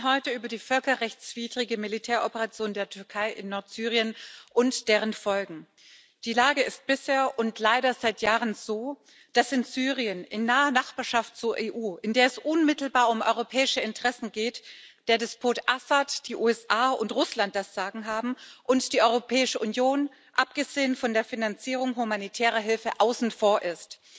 Wir sprechen heute über die völkerrechtswidrige Militäroperation der Türkei in Nordsyrien und ihre Folgen. Die Lage ist bisher und leider seit Jahren so, dass in Syrien in naher Nachbarschaft zur EU, in der es unmittelbar um europäische Interessen geht der Despot Assad, die USA und Russland das Sagen haben und die Europäische Union abgesehen von der Finanzierung humanitärer Hilfe außen vor ist.